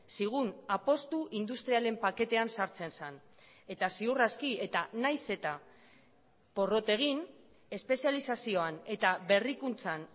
zigun apustu industrialen paketean sartzen zen eta ziur aski eta nahiz eta porrot egin espezializazioan eta berrikuntzan